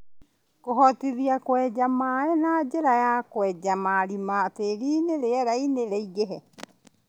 Kũhotithia kũingĩria maĩ na njĩra ya kwenja marima tĩriinĩ rĩera rĩingĩre